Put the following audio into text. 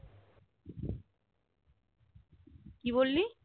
কি বললি